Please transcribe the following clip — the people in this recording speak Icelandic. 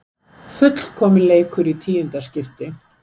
Fullkominn leikur í tíunda skipti